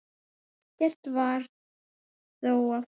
Ekkert varð þó af því.